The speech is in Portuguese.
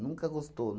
Nunca gostou.